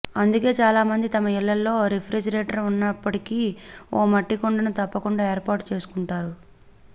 అందుకే చాలామంది తమ ఇళ్లలో రిఫ్రిజిరేటర్ ఉన్నప్పటికీ ఓ మట్టి కుండను తప్పకుండా ఏర్పాటుచేసుకుంటారు